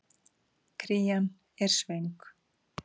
Krían er svöng.